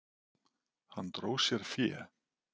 Hann dró sér fé.